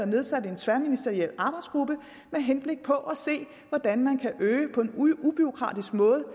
nedsat en tværministeriel arbejdsgruppe med henblik på at se hvordan man på en ubureaukratisk måde